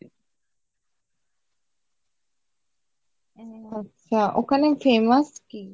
উম আচ্ছা ওখানে famous কি ?